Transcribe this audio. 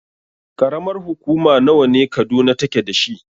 Ƙaramar hukuma nawa ne Kaduna take dashi?